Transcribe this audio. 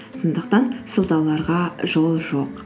сондықтан сылтауларға жол жоқ